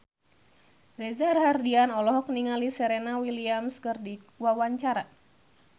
Reza Rahardian olohok ningali Serena Williams keur diwawancara